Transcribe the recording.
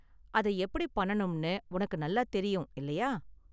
அத எப்படி பண்ணனும்னு உனக்கு நல்லா தெரியும், இல்லையா?